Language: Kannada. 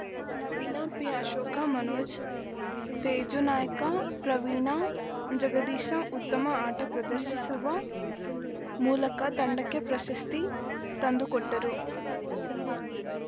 ನವೀನ ಪಿಅಶೋಕ ಮನೋಜ್ ತೇಜು ನಾಯ್ಕ ಪ್ರವೀಣ ಜಗದೀಶ ಉತ್ತಮ ಆಟ ಪ್ರದರ್ಶಿಸುವ ಮೂಲಕ ತಂಡಕ್ಕೆ ಪ್ರಶಸ್ತಿ ತಂದು ಕೊಟ್ಟರು